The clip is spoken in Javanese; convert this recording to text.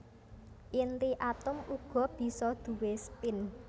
Inti atom uga bisa duwé spin